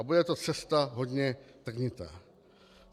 A bude to cesta hodně trnitá.